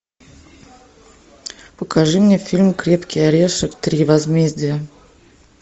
покажи мне фильм крепкий орешек три возмездие